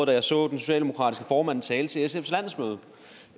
da jeg så den socialdemokratiske formand tale til sfs landsmøde